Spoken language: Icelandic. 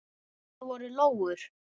Það voru lóur.